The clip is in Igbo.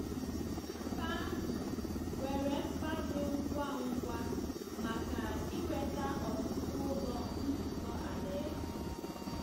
Mba ahụ nwere mkpa dị ngwa ngwa maka inweta ọtụtụ Ụlọ Nzukọ Alaeze.